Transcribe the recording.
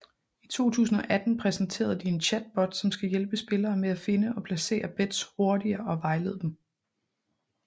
I 2018 præsenterede de en chatbot som skal hjælpe spillere med at finde og placere bets hurtigere og vejlede dem